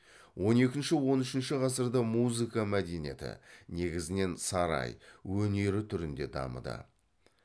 он екінші он үшінші ғасырда музыка мәдениеті негізінен сарай өнері түрінде дамыды